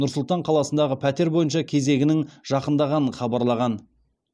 нұр сұлтан қаласындағы пәтер бойынша кезегінің жақындағанын хабарлаған